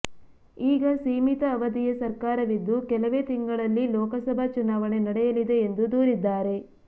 ಈಗ ಸೀಮಿತ ಅವಧಿಯ ಸರ್ಕಾರವಿದ್ದು ಕೆಲವೇ ತಿಂಗಳಲ್ಲಿ ಲೋಕಸಭಾ ಚುನಾವಣೆ ನಡೆಯಲಿದೆ ಎಂದು ದೂರಿದ್ದಾರೆ